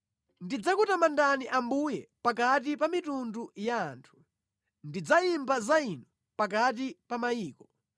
Ndidzakutamandani Ambuye, pakati pa mitundu ya anthu, ndidzayimba za Inu pakati pa mayiko.